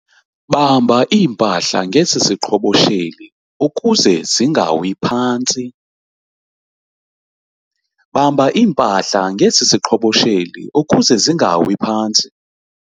Bamba iimpahla ngesi siqhobosheli ukuze zingawi phantsi.